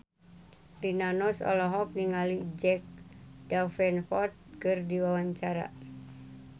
Rina Nose olohok ningali Jack Davenport keur diwawancara